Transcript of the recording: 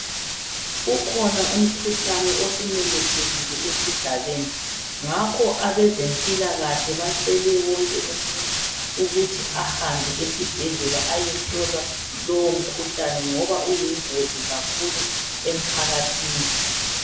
Ukhona umkhuhlane osumemethekile esigabeni. Ngakho abazempilakahle bacele wonke umuntu ukuthi ahambe esibhedlela aye hlolwa lowo mkhuhlane ngoba uyingozi kakhulu emphakathini .